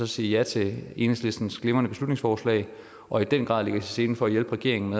sige ja til enhedslistens glimrende beslutningsforslag og i den grad lægge os i selen for at hjælpe regeringen